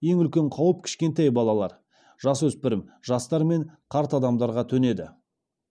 ең үлкен қауіп кішкентай балалар жасөспірім жастар мен қарт адамдарға төнеді